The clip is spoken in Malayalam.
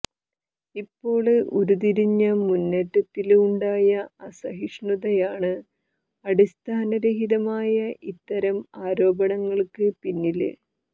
ഇപ്പോള് ഉരുത്തിരിഞ്ഞ മുന്നേറ്റത്തില് ഉണ്ടായ അസഹിഷ്ണുതയാണ് അടിസ്ഥാനരഹിതമായ ഇത്തരം ആരോപണങ്ങള്ക്ക് പിന്നില്